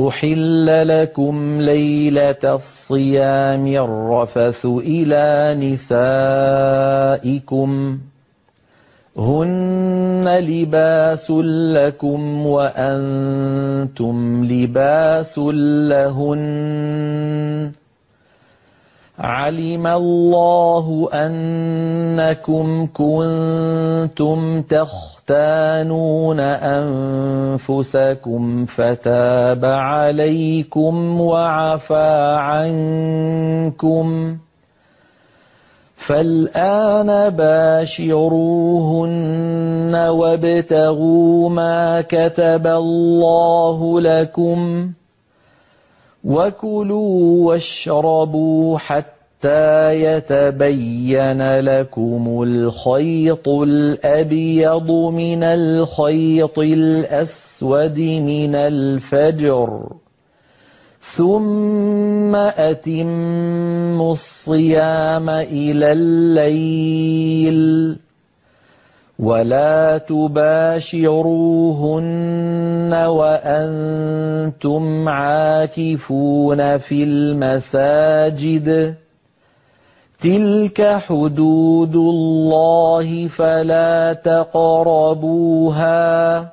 أُحِلَّ لَكُمْ لَيْلَةَ الصِّيَامِ الرَّفَثُ إِلَىٰ نِسَائِكُمْ ۚ هُنَّ لِبَاسٌ لَّكُمْ وَأَنتُمْ لِبَاسٌ لَّهُنَّ ۗ عَلِمَ اللَّهُ أَنَّكُمْ كُنتُمْ تَخْتَانُونَ أَنفُسَكُمْ فَتَابَ عَلَيْكُمْ وَعَفَا عَنكُمْ ۖ فَالْآنَ بَاشِرُوهُنَّ وَابْتَغُوا مَا كَتَبَ اللَّهُ لَكُمْ ۚ وَكُلُوا وَاشْرَبُوا حَتَّىٰ يَتَبَيَّنَ لَكُمُ الْخَيْطُ الْأَبْيَضُ مِنَ الْخَيْطِ الْأَسْوَدِ مِنَ الْفَجْرِ ۖ ثُمَّ أَتِمُّوا الصِّيَامَ إِلَى اللَّيْلِ ۚ وَلَا تُبَاشِرُوهُنَّ وَأَنتُمْ عَاكِفُونَ فِي الْمَسَاجِدِ ۗ تِلْكَ حُدُودُ اللَّهِ فَلَا تَقْرَبُوهَا ۗ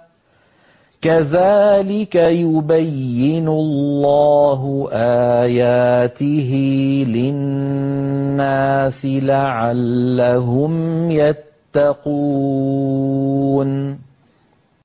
كَذَٰلِكَ يُبَيِّنُ اللَّهُ آيَاتِهِ لِلنَّاسِ لَعَلَّهُمْ يَتَّقُونَ